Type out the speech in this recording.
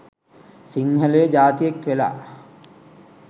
සිංහලයො ජාතියෙක් වෙලා